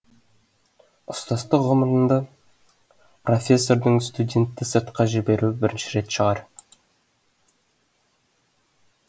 ұстаздық ғұмырында профессордың студентті сыртқа жіберуі бірінші рет шығар